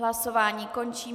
Hlasování končím.